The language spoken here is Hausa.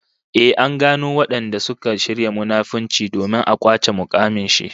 Ehh, an gano wadanda suka shirya munafunci domin a kwace mukamin shi